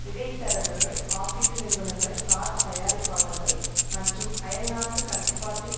இடைத்தரகர்கள் காப்பீட்டு நிறுவனங்கள் கார் தயாரிப்பாளர்கள் மற்றும் அயல்நாட்டு கட்டுப்பாட்டில்